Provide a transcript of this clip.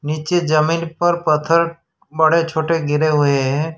नीचे जमीन पर पत्थर बड़े छोटे गिरे हुए है।